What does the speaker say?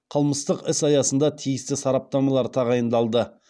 қылмыстық іс аясында тиісті сараптамалар тағайындалды